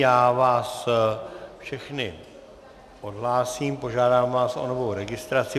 Já vás všechny odhlásím, požádám vás o novou registraci.